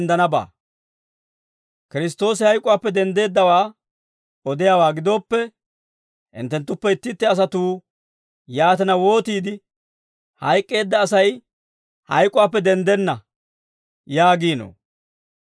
Kiristtoosi hayk'uwaappe denddeeddawaa odiyaawaa gidooppe, hinttenttuppe itti itti asatuu yaatina wootiide, «Hayk'k'eedda Asay hayk'uwaappe denddenna» yaagiinoo?